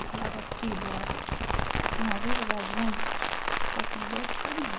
Eu falava, filho, olha, numa vida da gente, só tem dois caminhos.